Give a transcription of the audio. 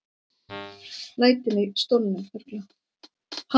Hanna Björg.